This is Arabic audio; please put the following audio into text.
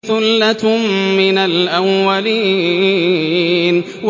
ثُلَّةٌ مِّنَ الْأَوَّلِينَ